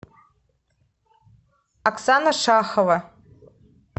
оксана шахова